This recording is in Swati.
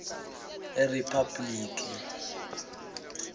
eriphabhulikhi